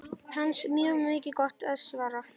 Hansa: Mjög gott svar.